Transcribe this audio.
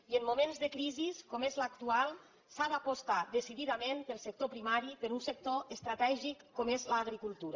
i en moments de crisi com l’actual s’ha d’apostar decididament pel sector primari per un sector estratègic com és l’agricultura